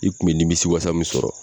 I kun mi nimisi wasa min sɔrɔ